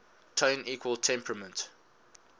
tone equal temperament